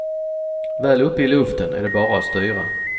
Väl uppe i luften är det bara att styra.